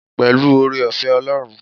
Pẹ̀lú oore-ọ̀fẹ́ Ọlọ́run.